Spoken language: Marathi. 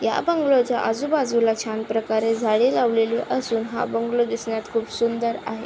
या बंगलोच्या आजूबाजूला छान प्रकारे झाडे लावलेली असून हा बंगलो दिसण्यात खूप सुंदर आहे.